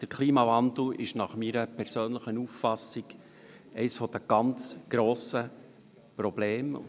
Der Klimawandel ist nach meiner persönlichen Auffassung eines der ganz grossen Probleme.